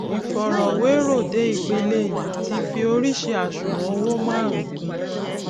ìfọrọwérò dé ipele yìí ti fi oríṣii àṣùwòn owó márùnún kùn un